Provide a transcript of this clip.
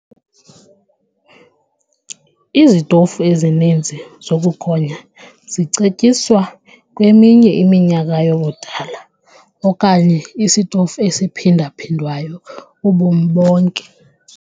Izitofu ezininzi zokugonya zicetyiswa kweminye eminyaka yobudala okanye isitofu esiphinda-phindwayo ubomi bonke.